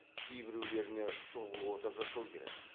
кейбіреулеріне шұғыл ота жасау керек